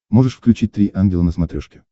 можешь включить три ангела на смотрешке